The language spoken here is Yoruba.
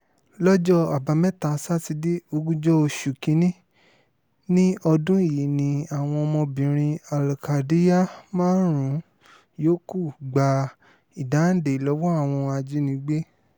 lọ́jọ́ àbámẹ́ta sátidé ogúnjọ́ oṣù kín-ín-ní ọdún yìí ni àwọn ọmọbìnrin al-kadiyar márùn-ún yòókù gba ìdáǹdè lọ́wọ́ àwọn ajínigbé